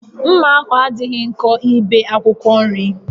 Mma ahụ adịghị nkọ ibe akwụkwọ nri